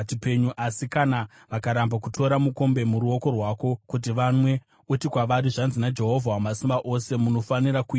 Asi kana vakaramba kutora mukombe muruoko rwako kuti vamwe, uti kwavari, ‘Zvanzi naJehovha Wamasimba Ose: Munofanira kuinwa!